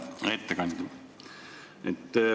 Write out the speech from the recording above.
Hea ettekandja!